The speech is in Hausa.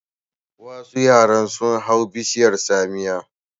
Wasu yara sun hau bishiyar tsamiya.